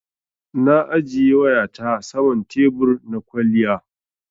Na ajiye wayata saman tebur na kwaliya.